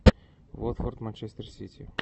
вот форд манчестер сити